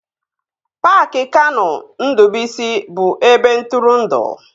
Paaki Kanụ Ndụbụisi bụ ebe ntụrụndụ